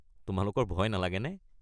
তোমালোকৰ ভয় নালাগেনে?